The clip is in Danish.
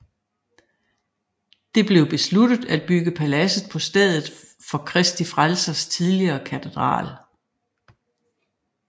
Det blev besluttet at bygge paladset på stedet for Kristi Frelsers tidligere katedral